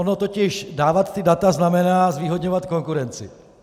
Ono totiž dávat ta data znamená zvýhodňovat konkurenci.